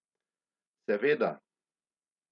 Seveda.